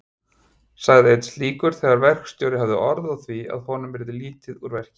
sagði einn slíkur þegar verkstjórinn hafði orð á því að honum yrði lítið úr verki.